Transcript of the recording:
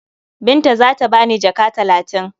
Binta za ta ba ni jaka talatin.